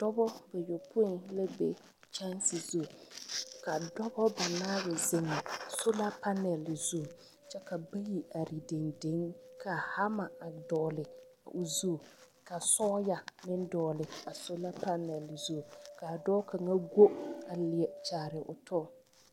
Dͻbͻ bayopoi la be kyԑnse zu. Ka dͻbͻ banaare zeŋ sola panԑl zu kyԑ ka are dendeŋ ka hama a dogele o zu ka sͻͻya meŋ dogele a sola panԑl zu, ka a dͻͻ kaŋa go a leԑ kyaare o tͻ.